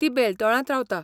तो बेलटोळांत रावता.